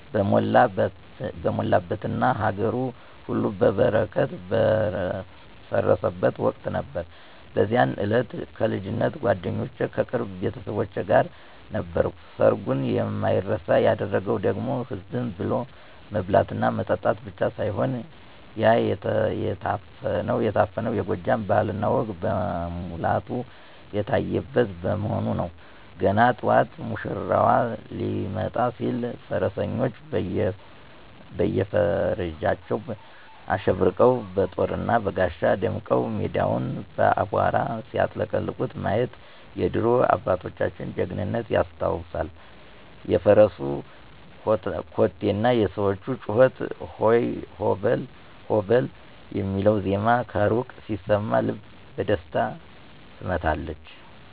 በሞላበትና ሀገሩ ሁሉ በበረከት በረሰረሰበት ወቅት ነበር። በዚያ እለት ከልጅነት ጓደኞቼና ከቅርብ ቤተሰቦቼ ጋር ነበርኩ። ሰርጉን የማይረሳ ያደረገው ደግሞ ዝም ብሎ መብላትና መጠጣት ብቻ ሳይሆን፣ ያ የታፈነው የጎጃም ባህልና ወግ በሙላቱ የታየበት በመሆኑ ነው። ገና ጠዋት ሙሽራው ሊመጣ ሲል፣ ፈረሰኞቹ በየፈርጃቸው አሸብርቀው፣ በጦርና በጋሻ ደምቀው ሜዳውን በአቧራ ሲያጥለቀልቁት ማየት የድሮ አባቶቻችንን ጀግንነት ያስታውሳል። የፈረሱ ኮቴና የሰዎቹ ጩኸት "ሆ በል! ሆ በል!" የሚለው ዜማ ከሩቅ ሲሰማ፣ ልብ በደስታ ትመታለች።